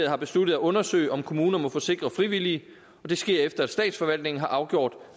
har besluttet at undersøge om kommunen må forsikre frivillige og det sker efter at statsforvaltningen har afgjort